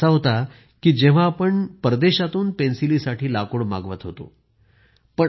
एक काळ असा होता की जेव्हा आपण विदेशातून पेन्सिली साठी लाकूड मागवत होतो